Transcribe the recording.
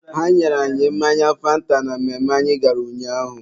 ha nyere anyị mmanya fanta na mmemme anyị gara ụnyaahụ.